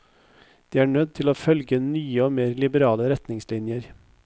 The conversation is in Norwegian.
De er nødt til å følge nye og mer liberale retningslinjer.